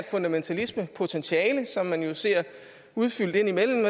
fundamentalismepotentiale som man jo ser udfoldet indimellem